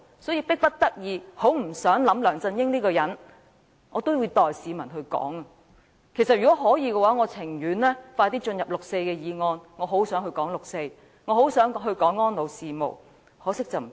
所以，迫不得己，即使我不想再談梁振英這個人，我也要代市民發聲，但如果可以，我寧可盡快開始討論六四的議案，我很想討論六四，亦很想討論安老事務，只可惜不行。